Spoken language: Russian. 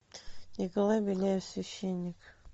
николай беляев священник